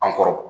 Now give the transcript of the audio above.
An kɔrɔ